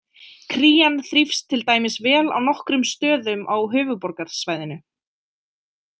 Krían þrífst til dæmis vel á nokkrum stöðum á Höfuðborgarsvæðinu.